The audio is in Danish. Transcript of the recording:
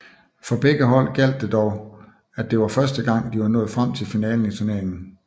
For begge hold gjaldt det at det var første gang at de var nået frem til finalen i turneringen